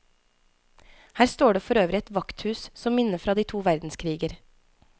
Her står det for øvrig et vakthus som minne fra de to verdenskriger.